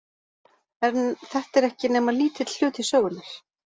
En þetta er ekki nema lítill hluti sögunnar.